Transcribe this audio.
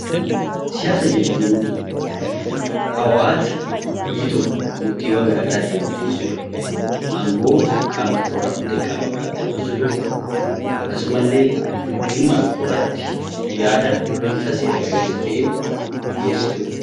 Siyaasa jechuun dhawaata biyyi tokko murtiiwwan gara garaa ittiin murteessitu, angoo qaama tokko irraa fuutee qaama biraatti dabarsitu, akkasumallee dhimma tokko irratti yaada bifa seera qabeessa ta'een dhiyeessitu dha.